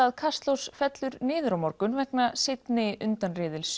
að Kastljós fellur niður á morgun vegna seinni